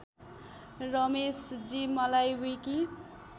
रमेशजी मलाई विकी